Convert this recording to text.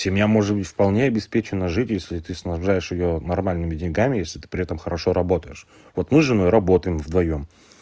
семья может быть вполне обеспечена жили если ты снабжаешь её нормальными деньгами если ты при этом хорошо работаешь вот мы с женой работаем вдвоём